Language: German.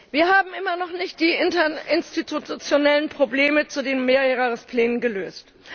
Wir haben immer noch nicht die interinstitutionellen Probleme zu den Mehrjahresplänen gelöst.